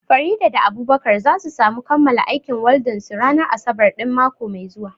Farida da Abubakar za su samu kammala aikin waldan su ranar asabar ɗin mako mai zuwa